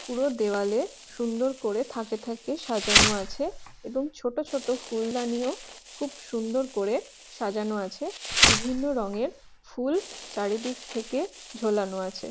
পুরো দেয়ালে সুন্দর করে থাকে থাকে সাজানো আছে | এবং ছোট ছোট ফুলদানি ও খুব সুন্দর করে সাজানো আছে | বিভিন্ন রঙের ফুল চারিদিক থেকে ঝোলানো আছে ।